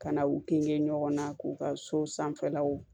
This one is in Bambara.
Ka na u kinge ɲɔgɔn na k'u ka so sanfɛlaw